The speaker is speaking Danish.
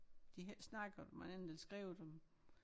De har ikke snakket om andet eller skrevet om